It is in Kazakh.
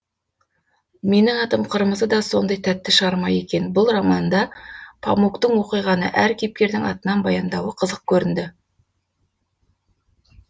менің атым қырмызы да сондай тәтті шығарма екен бұл романында памуктың оқиғаны әр кейіпкердің атынан баяндауы қызық көрінді